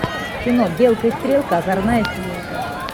кино белка и стрелка озорная семейка